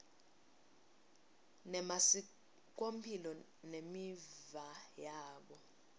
nemasikomphilo nemiva yabo